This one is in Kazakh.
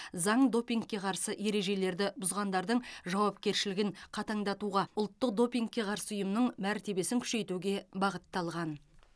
заң допингке қарсы ережелерді бұзғандардың жауапкершілігін қатаңдатуға ұлттық допингке қарсы ұйымның мәртебесін күшейтуге бағытталған